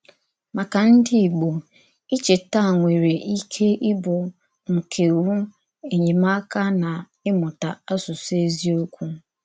Màkà ndí Ìgbò, ìchèta nwerè íké íbụ̀ ńkèwú enyémákà n’ìmụta àsụsụ ézíòkwù.